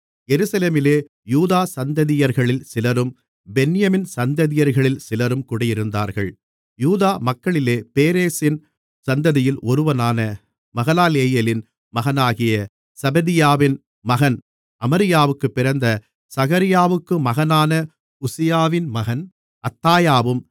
எருசலேமிலே யூதா சந்ததியர்களில் சிலரும் பென்யமீன் சந்ததியர்களில் சிலரும் குடியிருந்தார்கள் யூதா மக்களிலே பேரேசின் சந்ததியில் ஒருவனான மகலாலெயேலின் மகனாகிய செபதியாவின் மகன் அமரியாவுக்குப் பிறந்த சகரியாவுக்கு மகனான உசியாவின் மகன் அத்தாயாவும்